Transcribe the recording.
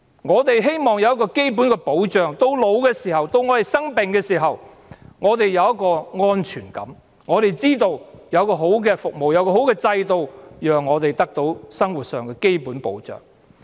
我們希望得到一個基本的保障，到年老的時候、生病的時候，我們有一種安全感，我們知道有良好的服務、有良好的制度，讓我們得到生活上的基本保障。